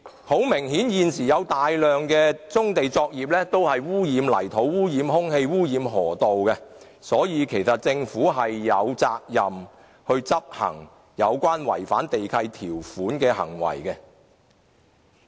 很明顯，現時有大量棕地作業污染泥土、空氣和河道，所以政府其實是有責任就違反地契條款的行為採取執法。